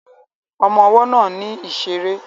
Ọmọ ọwọ́ náà ní ìṣeré